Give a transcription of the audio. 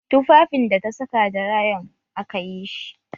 Tufafin da ta saka da rayon akayi shi